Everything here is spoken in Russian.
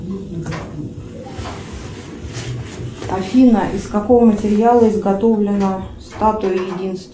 афина из какого материала изготовлена статуя единства